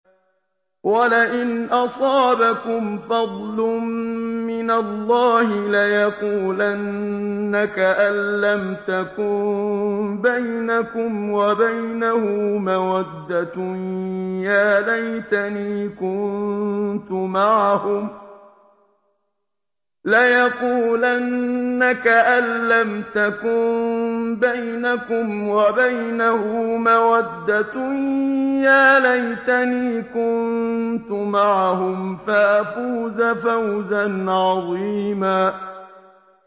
وَلَئِنْ أَصَابَكُمْ فَضْلٌ مِّنَ اللَّهِ لَيَقُولَنَّ كَأَن لَّمْ تَكُن بَيْنَكُمْ وَبَيْنَهُ مَوَدَّةٌ يَا لَيْتَنِي كُنتُ مَعَهُمْ فَأَفُوزَ فَوْزًا عَظِيمًا